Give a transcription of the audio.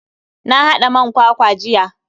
Na hada man kwakwa jiya.